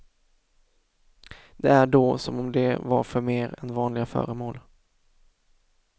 Det är då som om de var förmer än vanliga föremål.